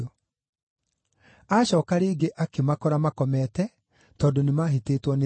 Aacooka rĩngĩ akĩmakora makomete, tondũ nĩmahĩtĩtwo nĩ toro.